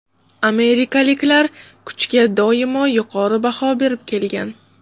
Amerikaliklar kuchga doimo yuqori baho berib kelgan.